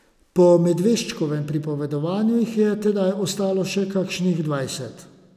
Po Medveščkovem pripovedovanju jih je tedaj ostalo še kakšnih dvajset.